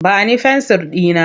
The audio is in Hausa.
Ba ni fensir ɗina!